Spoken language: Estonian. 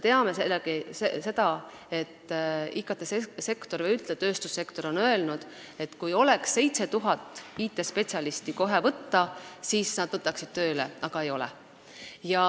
IKT-sektor või üldse tööstussektor on öelnud, et kui oleks 7000 IT-spetsialisti kohe võtta, siis nad võtaksid nad tööle, aga neid ei ole.